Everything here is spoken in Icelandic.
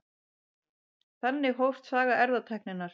Þannig hófst saga erfðatækninnar.